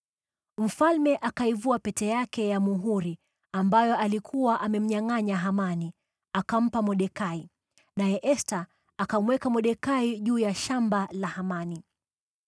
Mfalme akaivua pete yake ya muhuri, ambayo alikuwa amemnyangʼanya Hamani, akampa Mordekai, naye Esta akamweka Mordekai juu ya shamba la Hamani.